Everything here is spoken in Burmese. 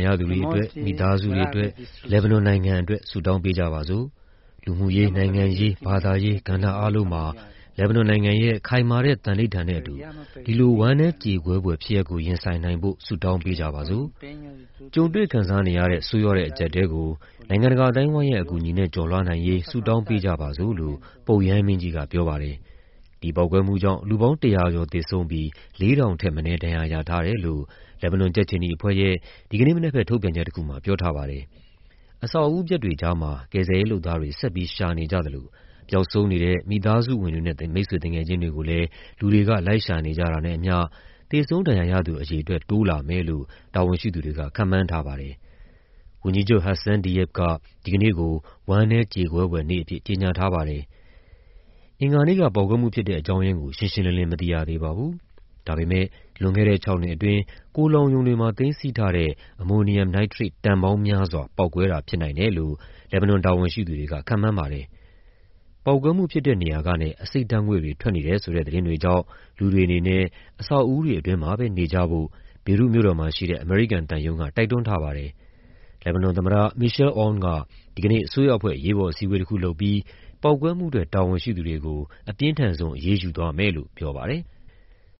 ရသူတွေအတွက်၊ မိသားစုတွေအတွက် လက်ဘနွန်နိုင်ငံအတွက် ဆုတောင်းပေးကြပါစို့၊ လူမှုရေး၊ နိုင်ငံရေး၊ ဘာသာရေး ကဏ္ဍအားလုံးမှာ လက်ဘနွန်နိုင်ငံရဲ့ ခိုင်မာတဲ့ သန္နိဋ္ဌာန်နဲ့အတူ ဒီလို ဝမ်းနည်းကြေကွဲဖွယ် ဖြစ်ရပ်ကို ရင်ဆိုင်နိုင်ဖို့ ဆုတောင်းပေးကြပါစို့၊ ကြုံတွေ့ခံစားနေရတဲ့ ဆိုးရွားတဲ့အကျပ်အတည်းကို နိုင်ငံတကာအသိုင်းအဝိုင်းရဲ့ အကူအညီနဲ့ ကျော်လွှားနိုင်ရေး ဆုတောင်းပေးကြပါစို့။" လို့ ပုပ်ရဟန်းမင်းကြီးက ပြောပါတယ်။ ဒီပေါက်ကွဲမှုကြောင့် လူပေါင်း ၁၀၀ ကျော်သေဆုံးပြီး ၄,၀၀၀ ထက်မနည်း ဒဏ်ရာရထားတယ်လို့ လက်ဘနွန် ကြက်ခြေနီအဖွဲ့ရဲ့ ဒီကနေ့မနက်ဘက် ထုတ်ပြန်ချက်တခုမှာ ပြောထားပါတယ်။ အဆောက်အဦးပျက်တွေကြားမှာ ကယ်ဆယ်ရေးလုပ်သားတွေ ဆက်ပြီးရှာနေကြသလို ပျောက်ဆုံးနေတဲ့ မိသားစုဝင်တွေနဲ့ မိတ်ဆွေသူငယ်ချင်းတွေကိုလည်း လူတွေလိုက်ရှာနေကြတာနဲ့အမ ျှ သေဆုံး ဒဏ်ရာရသူအရေအတွက် တိုးလာမယ်လို့ တာဝန်ရှိသူတွေက ခန့်မှန်းထားပါတယ်။ ဝန်ကြီးချုပ် Hassan Diab က ဒီကနေ့ကို ဝမ်းနည်းကြေကွဲဖွယ်နေ့အဖြစ် ကြေညာထားပါတယ်။ အင်္ဂါနေ့က ပေါက်ကွဲမှုဖြစ်တဲ့အကြောင်းရင်းကို ရှင်းရှင်းလင်းလင်း မသိရသေးပါဘူး။ ဒါပေမဲ့ လွန်ခဲ့တဲ့ ၆ နှစ်အတွင်း ကုန်လှောင်ရုံတွေမှာ သိမ်းဆည်းထားတဲ့ အမိုနီယမ် နိုက်ထရိတ် တန်ပေါင်းများစွာ ပေါက်ကွဲတာဖြစ်နိုင်တယ်လို့ လက်ဘနွန်တာဝန်ရှိသူတွေက ခန့်မှန်းပါတယ်။ ပေါက်ကွဲမှုဖြစ်တဲ့နေရာကနေ အဆိပ်ဓာတ်ငွေ့တွေ ထွက်နေတယ်ဆိုတဲ့ သတင်းတွေကြောင့် လူတွေအနေနဲ့ အဆောက်အဦးတွေအတွင်းမှာ နေကြဖို့ ဘေရွတ်မြို့တော်မှာရှိတဲ့ အမေရိကန်သံရုံးက တိုက်တွန်းထားပါတယ်။ လက်ဘနွန်သမ္မတ Michel Aoun က ဒီကနေ့ အစိုးရအဖွဲ့ အရေးပေါ်အစည်းအဝေးတခုလုပ်ပြီး ပေါက်ကွဲမှုအတွက် တာဝန်ရှိသူတွေကို အပြင်းထန်ဆုံး အရေးယူသွားမယ်လို့ပြောပါတယ်။